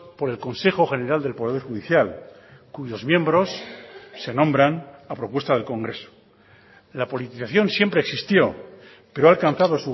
por el consejo general del poder judicial cuyos miembros se nombran a propuesta del congreso la politización siempre existió pero ha alcanzado